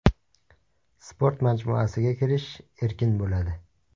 Sport majmuasiga kirish erkin bo‘ladi.